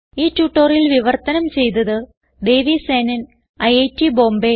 ഈ ട്യൂട്ടോറിയൽ വിവർത്തനം ചെയ്തത് ദേവി സേനൻ ഐറ്റ് ബോംബേ